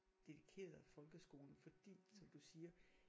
Dedikeret folkeskolen fordi som du siger